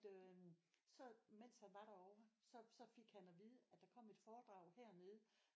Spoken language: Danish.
Øh så mens han var derovre så så fik han at vide at der kom et foredrag hernede